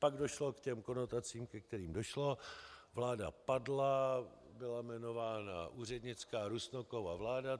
Pak došlo k těm konotacím, ke kterým došlo, vláda padla, byla jmenována úřednická Rusnokova vláda.